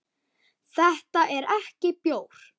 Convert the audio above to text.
Þetta er ekki bjór.